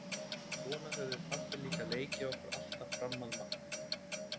Svona höfðum við pabbi líka leikið okkur alltaf fram að matnum.